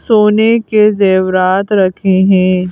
सोने के जैबरात रखे हैं।